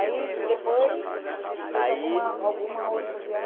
Aí, depois, alguma outra